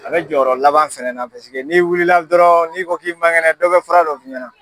A bɛ jɔyɔrɔ laban fɛnɛ na paseke n'i wilila dɔrɔn n'i ko k'i man kɛnɛ dɔ bɛ fura dɔ f'i ɲɛna.